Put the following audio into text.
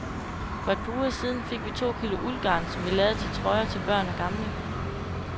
For et par uger siden fik vi to kilo uldgarn, som vi lavede til trøjer til børn og gamle.